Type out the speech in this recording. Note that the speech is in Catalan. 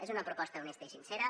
és una proposta honesta i sincera